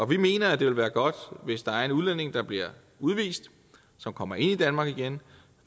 vi mener det vil være godt hvis der er en udlænding der bliver udvist og kommer ind i danmark igen